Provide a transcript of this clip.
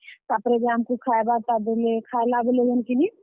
ତାପ୍ ରେ ଯେ ଆମକୁ ଖାଏବାର୍ ଟା ଦେଲେ, ଖାଏଲା ବେଲେ ଯେନ୍ କିନି।